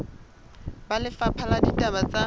ba lefapha la ditaba tsa